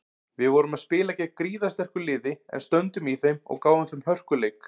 Við vorum spila gegn gríðarsterku liði en stöndum í þeim og gáfum þeim hörkuleik.